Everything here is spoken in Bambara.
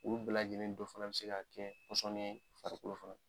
U bɛɛ lajɛlen dɔ fana bɛ se ka kɛ pɔsɔni ye farikolo fan